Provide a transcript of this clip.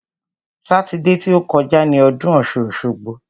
Sátidé ti ó kọjá ni ọdún ọ̀ṣun-òṣogbo.